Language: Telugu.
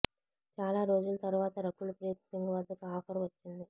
చాలా రోజుల తర్వాత రకుల్ ప్రీత్ సింగ్ వద్దకు ఆఫర్ వచ్చింది